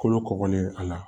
Kolo kɔgɔlen a la